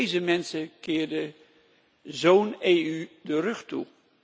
Deze mensen keerden zo'n EU de rug toe.